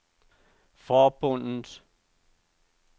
forbundet